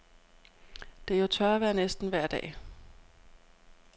Det er jo tørvejr næsten vejr dag.